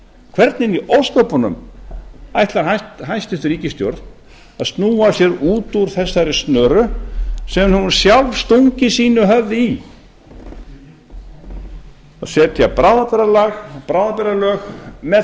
hvernig í ósköpunum ætlar hæstvirt ríkisstjórn að snúa sig út úr þessari snöru sem hún sjálf hefur stungið sínu höfði í að setja bráðabirgðalög með